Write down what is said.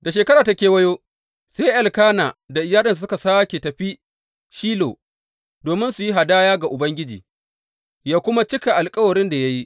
Da shekara ta kewayo, sai Elkana da iyalinsa suka sāke tafi Shilo domin su yi hadaya ga Ubangiji, yă kuma cika alkawarin da ya yi.